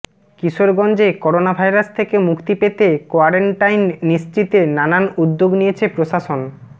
কিশোরগঞ্জে corona virus থেকে মুক্তি পেতে কোয়ারেন্টাইন নিশ্চিতে নানান উদ্যোগ নিয়েছে প্রশাসন